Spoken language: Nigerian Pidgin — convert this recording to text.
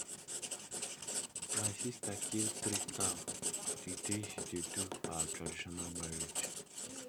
my sister kill three cow the day she dey do her traditional marriage